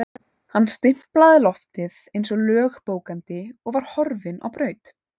Hann stimplaði loftið eins og lögbókandi og var horfinn á braut.